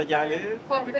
Xoşunuza gəldi?